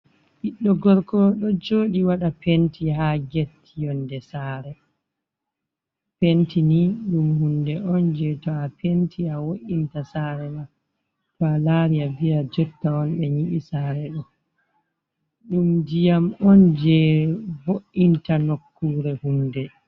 Ɓiɗɗo gorko ɗo jooɗi waɗa penti, haa get yonnde saare. Penti ni ɗum hunde on, jey to a penti, a wo’inta saare ma. To a laari a viya jotta on ɓe nyiɓi saare, ɗo ɗum ndiyam on, jey vo’inta nokkuure hunde.